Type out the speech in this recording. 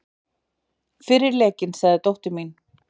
Fyrir lekinn sagði dóttir mín.